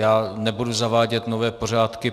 Já nebudu zavádět nové pořádky.